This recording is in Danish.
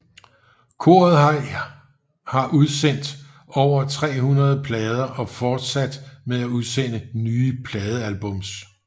Koret har udsender over 300 plader og fortsætter med at udsende nye pladealbums